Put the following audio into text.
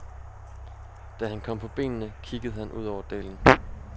Da han kom på benene, kiggede han ud over dalen.